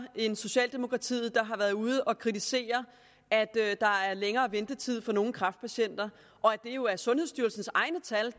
end socialdemokratiet der har været ude at kritisere at der er længere ventetid for nogle kræftpatienter og at det jo er sundhedsstyrelsens egne tal